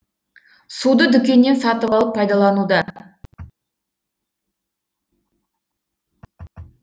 суды дүкеннен сатып алып пайдалануда